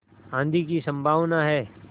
आँधी की संभावना है